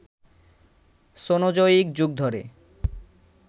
Cenozoic যুগ ধরে